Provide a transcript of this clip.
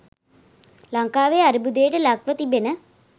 ලංකාවේ අර්බුදයට ලක්ව තිබෙන